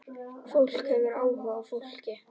Fólk hefur áhuga á fólki.